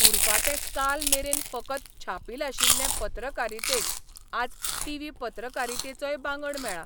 उरफाटें कालमेरेन फकत छापील आशिल्ले पत्रकारितेक आज टीव्ही पत्रकारितेचोय बांगड मेळा.